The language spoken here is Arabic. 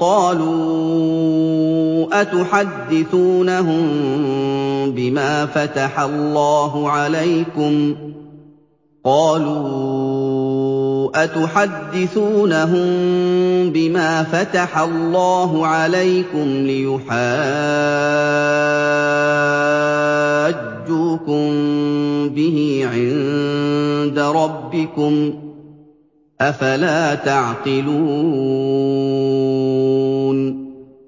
قَالُوا أَتُحَدِّثُونَهُم بِمَا فَتَحَ اللَّهُ عَلَيْكُمْ لِيُحَاجُّوكُم بِهِ عِندَ رَبِّكُمْ ۚ أَفَلَا تَعْقِلُونَ